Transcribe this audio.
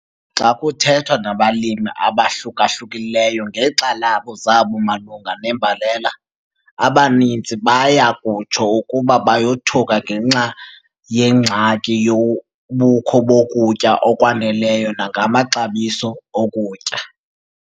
Xa kuthethwa nabalimi abahluka-hlukileyoo ngeenkxalabo zabo malunga nembalela, abaninzi baya kutsho ukuba bayothuka ngenxa yengxaki yobukho bokutya okwaneleyo nangamaxabiso okutya.